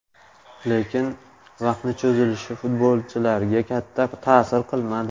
Lekin, vaqtni cho‘zilishi futbolchilarga katta ta’sir qilmadi.